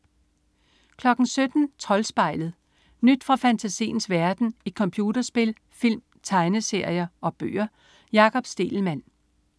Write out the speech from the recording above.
17.00 Troldspejlet. Nyt fra fantasiens verden i computerspil, film, tegneserier og bøger. Jakob Stegelmann